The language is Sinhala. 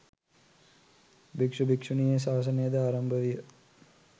භික්‍ෂු භික්‍ෂුණී ශාසනයද ආරම්භ විය.